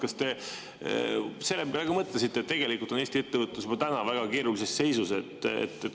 Kas te selle peale ka mõtlesite, et tegelikult on Eesti ettevõtlus juba täna väga keerulises seisus?